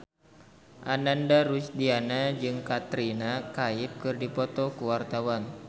Ananda Rusdiana jeung Katrina Kaif keur dipoto ku wartawan